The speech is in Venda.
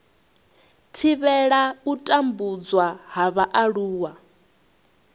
thivhela u tambudzwa ha vhaaluwa